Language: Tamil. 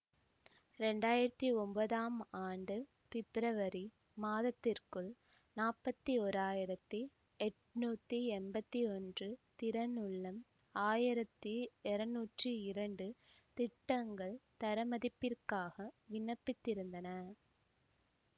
இரண்டு ஆயிரத்தி ஒன்பதாம் ஆண்டு பிப்ரவரி மாதத்திற்குள் நாப்பத்தி ஒறாயிரத்தி எட்ணூத்தி எம்பத்தி ஒன்று திறனுள்ளம் ஆயிரத்தி இருநூற்றி இரண்டு திட்டங்கள் தரமதிப்பிற்காக விண்ணப்பித்திருந்தன